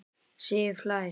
Sif hlær.